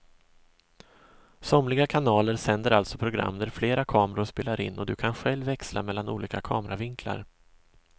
Somliga kanaler sänder alltså program där flera kameror spelar in och du kan själv växla mellan olika kameravinklar.